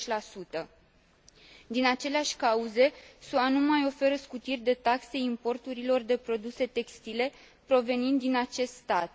80 Din aceleași cauze, SUA nu mai oferă scutiri de taxe importurilor de produse textile provenind din acest stat.